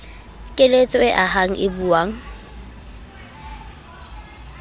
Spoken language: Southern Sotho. keletso e ahang e buang